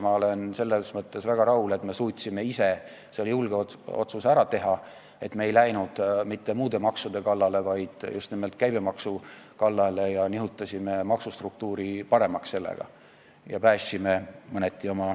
Ma olen selles mõttes väga rahul, et me suutsime ise selle julge otsuse ära teha, et ei läinud mitte muude maksude kallale, vaid just nimelt käibemaksu kallale ja nihutasime maksustruktuuri sellega paremaks.